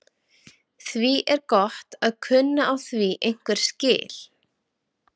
Því er gott að kunna á því einhver skil.